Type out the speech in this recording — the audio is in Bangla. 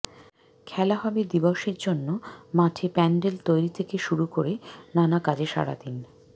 খেলা হবে দিবসের জন্য মাঠে প্য়ান্ডেল তৈরি থেকে শুরু করে নানা কাজে সারাদিন